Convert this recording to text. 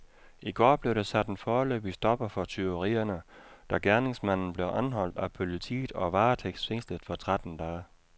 I går blev der sat en foreløbig stopper for tyverierne, da gerningsmanden blev anholdt af politiet og varetægtsfængslet for tretten dage.